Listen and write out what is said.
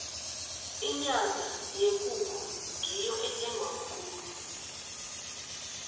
inyama yekukhu ngiyo ethengwa khulu